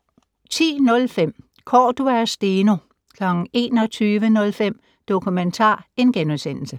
10:05: Cordua og Steno 21:05: Dokumentar *